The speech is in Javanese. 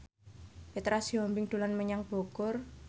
Petra Sihombing dolan menyang Bogor